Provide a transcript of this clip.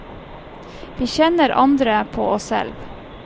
Vi kjenner andre på oss selv.